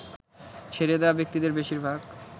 ছেড়ে দেয়া ব্যক্তিদের বেশির ভাগ